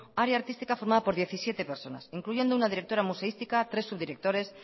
área artística formada por diecisiete personas incluyendo una directora museística tres subdirectores